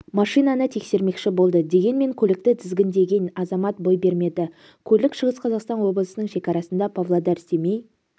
машинаны тексермекші болды дегенмен көлікті тізгіндеген азамат бой бермеді көлік шығыс қазақстан облысының шекарасында павлодар-семей